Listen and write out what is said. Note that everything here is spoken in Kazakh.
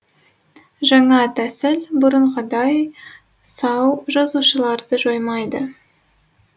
жаңа тәсіл бұрынғыдай сау жасушаларды жоймайды